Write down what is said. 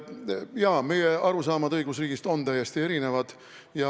Jaa, meie arusaamad õigusriigist on täiesti erinevad.